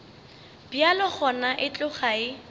bjalo gona e tloga e